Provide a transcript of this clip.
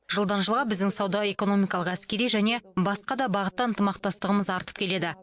жылдан жылға біздің сауда экономикалық әскери және басқа да бағытта ынтымақтастығымыз артып келеді